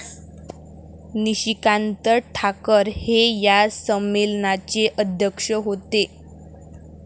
निशिकांत ठाकर हे या संमेलनाचे अध्यक्ष होते ।